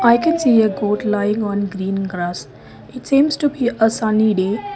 I can see a gold lying on green grass it seems to be a sunny day.